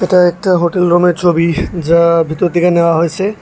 একটা হোটেল রুমের ছবি যা ভিতর তেকে নেওয়া হোয়েসে।